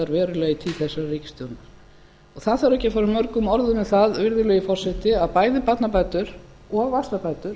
þessarar ríkisstjórnar það þarf ekki að fara mörgum orðum um það virðulegi forseti að bæði barnabætur og vaxtabætur